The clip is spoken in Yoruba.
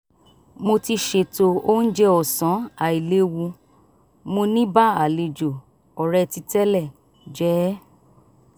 mo ti ṣètò oúnjẹ ọ̀sán àìléwu mo ní bá àlejò òretí tẹ́lẹ̀ jẹ ẹ́